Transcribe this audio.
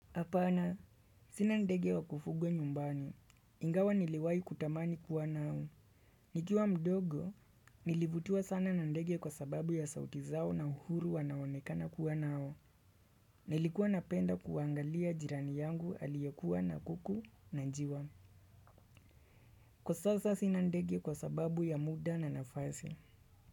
Hapana, sina ndege wa kufugwa nyumbani. Ingawa niliwai kutamani kuwa nao. Nikiwa mdogo, nilivutiwa sana na ndege kwa sababu ya sauti zao na uhuru wanaonekana kuwa nao. Nilikuwa napenda kuangalia jirani yangu aliyekuwa na kuku na njiwa. Kwa sasa sina ndege kwa sababu ya muda na nafasi.